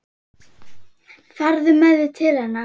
Farðu með mig til hennar.